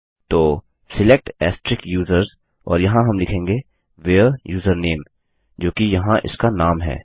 तो select users और यहाँ हम लिखेंगे व्हेरे यूजरनेम जो कि यहाँ इसका नाम है